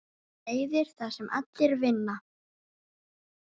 Leiðir þar sem allir vinna.